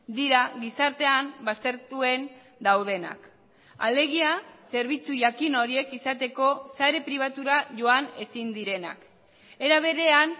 dira gizartean baztertuen daudenak alegia zerbitzu jakin horiek izateko sare pribatura joan ezin direnak era berean